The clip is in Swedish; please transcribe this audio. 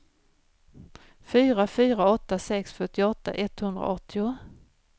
fyra fyra åtta sex fyrtioåtta etthundraåttio